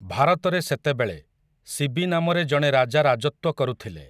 ଭାରତରେ ସେତେବେଳେ, ଶିବି ନାମରେ ଜଣେ ରାଜା ରାଜତ୍ୱ କରୁଥିଲେ ।